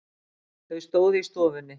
Þau stóðu í stofunni.